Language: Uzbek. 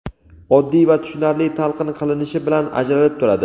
oddiy va tushunarli talqin qilinishi bilan ajralib turadi.